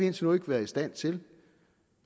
indtil nu ikke været i stand til